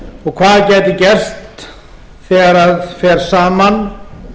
og hvað gæti gerst þegar fer saman